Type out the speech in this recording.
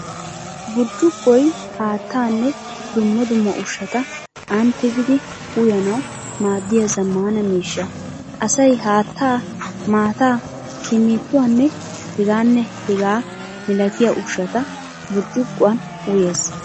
Burccuqoy haattaanne dumma dumma ushshata aani tigidi uyananawu maaddiya zammaana miishsha. Asay haattaa, maattaa, kinniittuwaanne hegaanne hegaa milatiya ushshata burccuquwan uyees.